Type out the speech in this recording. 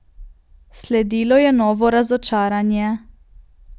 Sledilo je novo razočaranje.